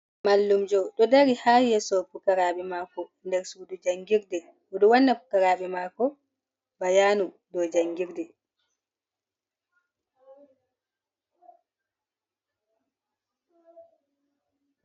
Mallumjo dodari hayeso fukarabe mako darsudu jangirde, odo wanna bukarabe mako bayanu do jangirde.